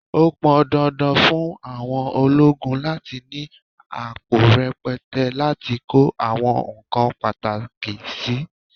Ó pọn dandan fún aṣọ ológun láti ni àpò rẹpẹtẹ láti kó àwọn nǹkan pàtàkì sì.